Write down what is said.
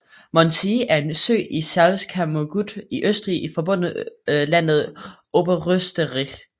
Mondsee er en sø i Salzkammergut i Østrig i forbundslandet Oberösterreich